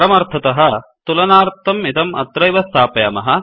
परमार्थतः तुलनार्थं इदम् अत्रैव स्थापयामः